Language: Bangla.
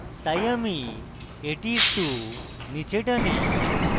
তাই আমি এটি একটু নীচে টানি